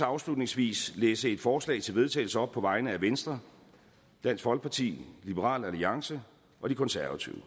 afslutningsvis læse et forslag til vedtagelse op på vegne af venstre dansk folkeparti liberal alliance og de konservative